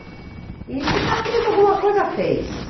E se está preso, alguma coisa fez.